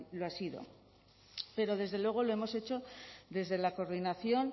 lo ha sido pero desde luego lo hemos hecho desde la coordinación